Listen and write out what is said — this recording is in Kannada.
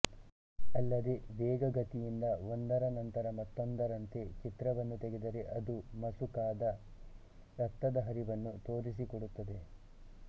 ಅಲ್ಲದೆ ವೇಗ ಗತಿಯಿಂದ ಒಂದರ ನಂತರ ಮತ್ತೊಂದರಂತೆ ಚಿತ್ರವನ್ನು ತೆಗೆದರೆ ಅದು ಮಸುಕಾದ ರಕ್ತದ ಹರಿವನ್ನು ತೋರಿಸಿಕೊಡುತ್ತದೆ